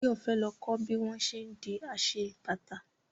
Báyọ̀ fẹ́ lọ kọ́ bí wọ́n ṣé ń di aṣebàtà